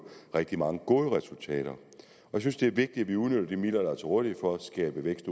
rigtig mange gode resultater jeg synes det er vigtigt at vi udnytter de midler der er til rådighed for at skabe vækst